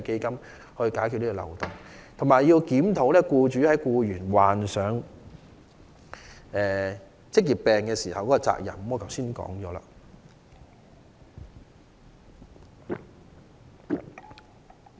此外，政府亦需要檢討僱主在僱員罹患職業病時的責任，我剛才已討論這點。